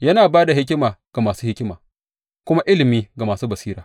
Yana ba da hikima ga masu hikima kuma ilimi ga masu basira.